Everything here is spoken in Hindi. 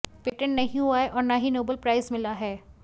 पेंटेट नहीं हुआ है और न ही नोबेल प्राइज़ मिला है